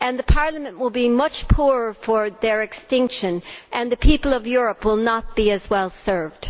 Parliament will be much poorer for their extinction and the people of Europe will not be as well served.